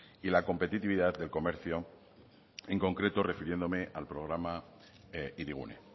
y la competitividad del comercio en concreto refiriéndome al programa hirigune